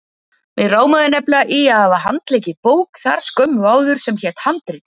Mig rámaði nefnilega í að hafa handleikið bók þar skömmu áður sem hét Handrit.